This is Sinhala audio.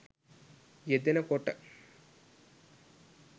යෙදෙන කොට